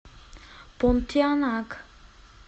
понтианак